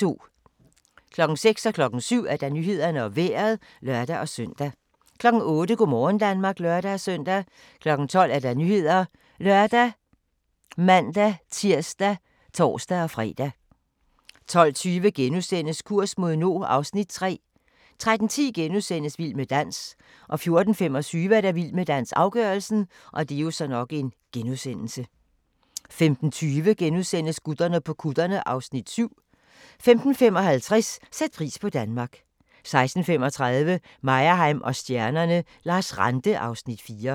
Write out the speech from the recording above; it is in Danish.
06:00: Nyhederne og Vejret (lør-søn) 07:00: Nyhederne og Vejret (lør-søn) 08:00: Go' morgen Danmark (lør-søn) 12:00: Nyhederne ( lør, man-tir, tor-fre) 12:20: Kurs mod nord (Afs. 3)* 13:10: Vild med dans * 14:25: Vild med dans - afgørelsen 15:20: Gutterne på kutterne (Afs. 7)* 15:55: Sæt pris på Danmark 16:35: Meyerheim & stjernerne: Lars Ranthe (Afs. 4)